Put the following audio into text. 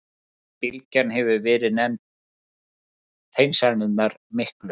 Síðari bylgjan hefur verið nefnd Hreinsanirnar miklu.